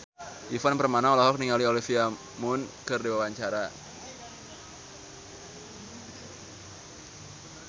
Ivan Permana olohok ningali Olivia Munn keur diwawancara